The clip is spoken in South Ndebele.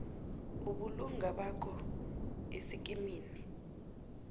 ubulunga bakho esikimini